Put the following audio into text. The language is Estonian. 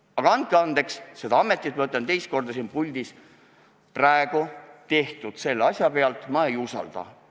Aga andke andeks, seda ametit – ma ütlen seda siin puldis teist korda – praegu tehtu põhjal ma ei usalda.